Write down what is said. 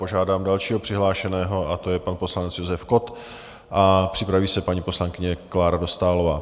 Požádám dalšího přihlášeného a to je pan poslanec Josef Kott a připraví se paní poslankyně Klára Dostálová.